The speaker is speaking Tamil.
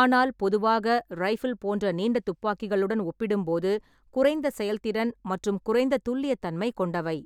ஆனால் பொதுவாக ரைபிள் போன்ற நீண்ட துப்பாக்கிகளுடன் ஒப்பிடும்போது குறைந்த செயல்திறன் மற்றும் குறைந்த துல்லியத்தன்மை கொண்டவை.